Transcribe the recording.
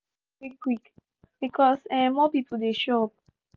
drinks finish quick quick because um more people dey show up